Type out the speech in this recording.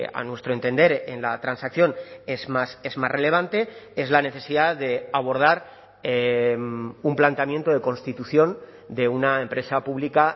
a nuestro entender en la transacción es más es más relevante es la necesidad de abordar un planteamiento de constitución de una empresa pública